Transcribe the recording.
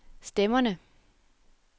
stemmerne